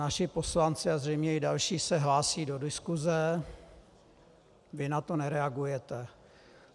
Naši poslanci a zřejmě i další se hlásí do diskuse, vy na to nereagujete.